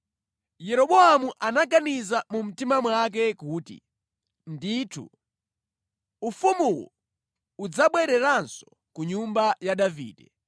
Yeroboamu anaganiza mu mtima mwake kuti, “Ndithu, ufumuwu udzabwereranso ku nyumba ya Davide.